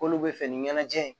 K'olu bɛ fɛ ni ɲɛnajɛ ye